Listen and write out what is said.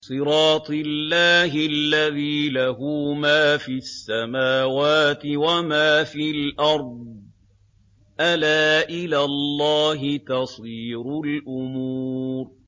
صِرَاطِ اللَّهِ الَّذِي لَهُ مَا فِي السَّمَاوَاتِ وَمَا فِي الْأَرْضِ ۗ أَلَا إِلَى اللَّهِ تَصِيرُ الْأُمُورُ